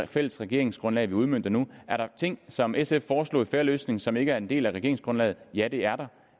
fælles regeringsgrundlag vi udmønter nu er der ting som sf foreslog i fair løsning som ikke er en del af regeringsgrundlaget ja det er der